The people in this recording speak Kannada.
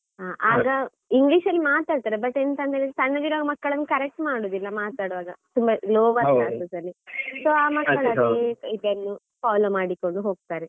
ಆಗ English ಅಲ್ಲಿ ಮಾತಾಡ್ತಾರೆ, but ಎಂತ ಅಂದ್ರೆ ಸಣ್ಣಗಿರೋವಾಗ ಮಕ್ಳನ್ನು correct ಮಾಡುದಿಲ್ಲ ಮಾತಾಡುವಾಗ ತುಂಬಾ ಅಲ್ಲಿ. so ಇದನ್ನು follow ಮಾಡಿಕೊಂಡು ಹೋಗ್ತಾರೆ.